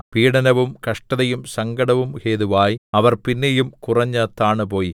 പീഡനവും കഷ്ടതയും സങ്കടവും ഹേതുവായി അവർ പിന്നെയും കുറഞ്ഞു താണുപോയി